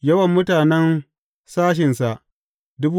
Yawan mutanen sashensa ne.